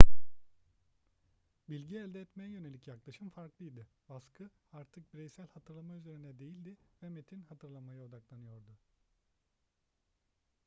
bilgi elde etmeye yönelik yaklaşım farklıydı baskı artık bireysel hatırlama üzerinde değildi ve metin hatırlamaya odaklanılıyordu